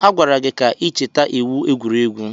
A gwara gị ka ị cheta iwu egwuregwu!